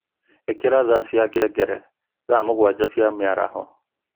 Ikira thaa cia ngengere thaa mũgwanja cia mĩaraho